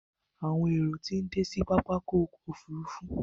Àwọn èrò tí ń dé sí pápákọ̀ òfurufú.